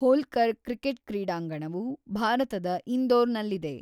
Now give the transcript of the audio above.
Holkar cricket ಕ್ರೀಡಾಂಗಣವು ಭಾರತದ ಇಂದೋರ್‌ನಲ್ಲಿದೆ.